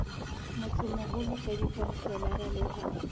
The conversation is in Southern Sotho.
motsemoholo ka dikhanselara le ho